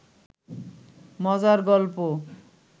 মজার গল্প